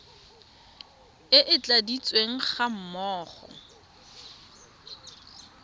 e e tladitsweng ga mmogo